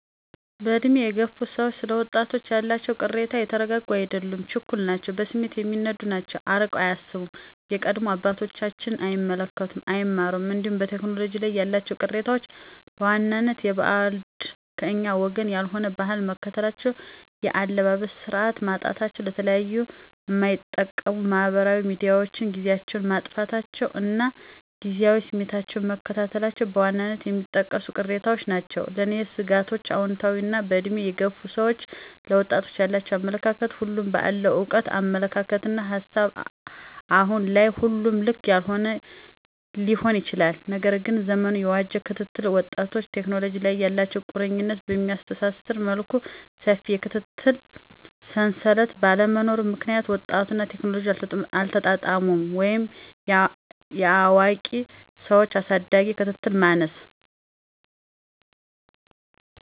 በዕድሜ የገፉ ሰዎች ስለ ወጣቶች ያላቸው ቅሬታ የተረጋጉ አይደሉም ችኩል ናቸው በስሜት የሚነዱ ናቸው አርቀው አያስቡም የቀደሙ አባቶቻቸውን አይመለከቱም አይማሩም እንዲሁም በቴክኖሎጂ ላይ ያላቸው ቅሬታዎች በዋናነት የበዓድ /ከኛ ወገን ያልሆነ/ ባህል መከተላቸው የአለባበስ ስርዓት ማጣታቸው ለተለያዩ ማይጠቅሙ ማህበራዊ ሚዲያዎችን ጊዚያቸውን ማጥፋታቸው እና ጊዚያዊ ስሜታቸውን መከተላቸው በዋናነት የሚጠቀሱ ቅሬታዎች ናቸው። ለኔ ስጋቶችአውንታዊ ነው በእድሜ የገፉ ሰዎች ለወጣቶች ያላቸው አመለካከት ሁሉም በአለው እውቀት አመለካከትና ሀሳብ አሁን ላይ ሁሉም ልክ ሊሆን ይችላል። ነገር ግን ዘመኑን የዋጄ ክትትል ወጣቶችንና ቴክኖሎጂ ላይ ያላቸው ቁርኝት በሚያስተሳስር መልኩ ሰፊ የክትትል ሰንሰለት ባለመኖሩ ምክንያት ወጣቱና ቴክኖሎጂ አልተጣጣሙም ወይም የአዋቂ ሰዎች አሳዳጊዎች ክትትል ማነስ